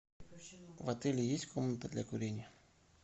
в отеле есть комната для курения